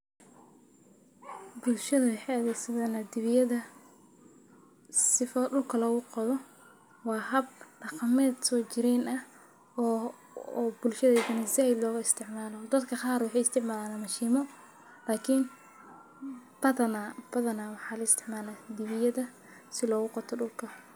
Bulshaada waxee adhegsadaan diwitada waa habdaqameed hada said lo istimalo badana dadka waxee isticmalan dibiyada si dulka logu qoto.